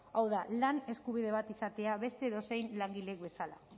hau da lan eskubide bat izatea beste edozein langilek bezala